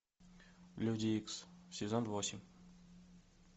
люди икс сезон восемь